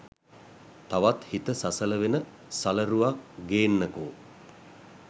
තවත් හිත සසල වෙන සලරුවක් ගේන්නකෝ